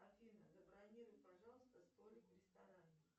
афина забронируй пожалуйста столик в ресторане